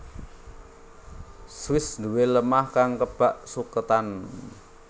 Swiss duwé lemah kang kebak suketan